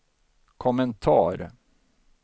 kommentar